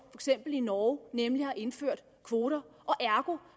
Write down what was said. i norge nemlig at indføre kvoter ergo